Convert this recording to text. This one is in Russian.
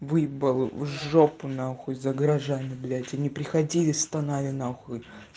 выебал в жопу нахуй за гаражами блять они приходили стонали нахуй